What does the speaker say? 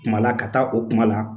Kuma la ka taa o kuma la